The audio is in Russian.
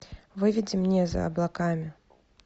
выведи мне за облаками